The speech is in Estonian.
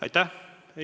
Aitäh!